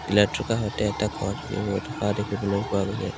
কাষতে এটা ঘৰ ৰৈ থকা দেখিবলৈ পোৱা গৈছে।